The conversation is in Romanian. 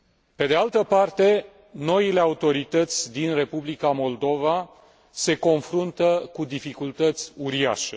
Pe de altă parte, noile autorități din Republica Moldova se confruntă cu dificultăți uriașe.